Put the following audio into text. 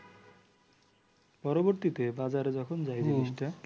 পরবর্তীতে বাজারে যখন যায় জিনিসটা